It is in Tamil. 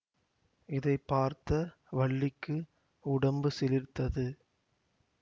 இதை பார்த்த வள்ளிக்கு உடம்பு சிலிர்த்தது